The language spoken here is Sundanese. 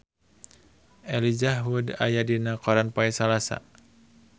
Elijah Wood aya dina koran poe Salasa